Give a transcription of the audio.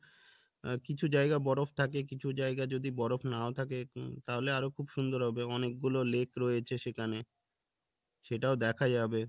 আহ কিছু জায়গা বরফ থাকে কিছু জায়গা যদি বরফ নাও থাকে তাহলে আরো খুব সুন্দর হবে অনেক গুলো lake রয়েছে সেখানে সেটাও দেখা যাবে